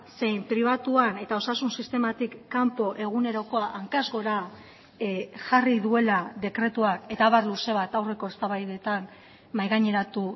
zein pribatuan eta osasun sistematik kanpo egunerokoa hankaz gora jarri duela dekretuak eta abar luze bat aurreko eztabaidetan mahai gaineratu